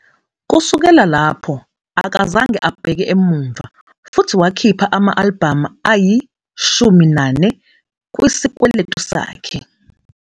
Kusukela lapho, akazange abheke emuva futhi wakhipha ama-albhamu ayi-14 kwisikweletu sakhe.